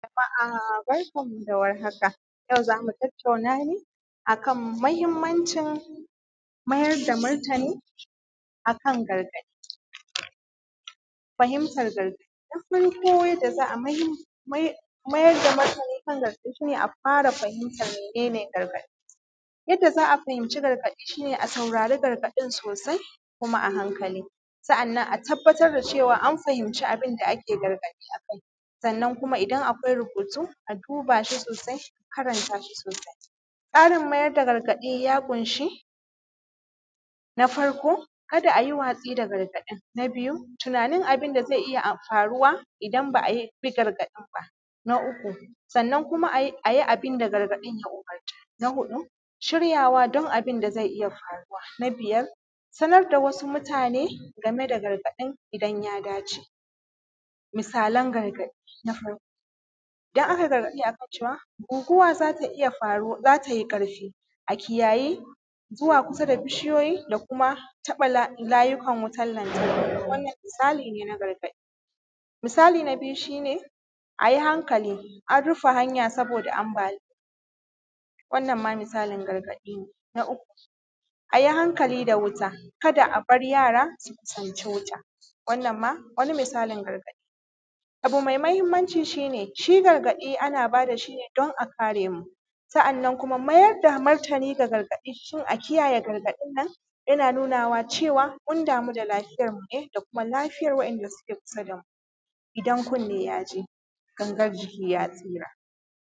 Jama’a barkanmu da warhaka. Yau zamu tattauna ne akan mahimmanci mayar da martani akan gargaɗi. Fahimtar gargaɗi. Na farko yanda za a mayar da martani kan gargaɗi shi ne a fara fahimtar mene ne gargaɗi? Yanda za fahimci gargaɗi shi ne a saurari gargaɗin sosai, kuma a hankali, sa’annnan a tabbatar da cewa an fahimci abinda ake gargaɗi akai, sannan kuma idan akwai rubutu a duba shi sosai, a karanta sosai. Tsarin mayar da gargaɗi ya ƙunshi: Na farko kada ayi watsi da gargaɗin Na biyu tunanin abinda zai iya faruwa idan ba’a bi gargaɗin ba. Na uku sa’annan kuma ayi abinda gargaɗin ya umurta. Na huɗu shiryaka don abinda zai iya faruwa. Na biyar sanar da wasu mutane game da gargaɗin idan ya dace. Misalan gargadi. Na farko idan akayi gargaɗi akan cewa guguwa zata iya, za tai ƙarfi a kiyayi zuwa kusa da bishiyoyi da kuma taɓa layukan wutan lantarki. Wannan misali ne na gargaɗi. Misali na biyu shi ne, ayi hankali an rufe hanya saboda ambaliya. Wannan ma misalin gargaɗi ne. Na uku ayi hankali da wuta kada abar yara su kusanci wuta, wannan ma wani misalin gargaɗi ne. Abu mai mahimmanci shi ne shi gargaɗi ana bada shi ne don a kare mu, sa’annan kuma mayar da martani da gargadi shin a kiyayye gargaɗi nan yana nuna cewa kun damu da lafiyarmu ne da kuma lafiyar wa’inda suke kusa damu. Idan kunne ya ji, gangar jiki ya tsara.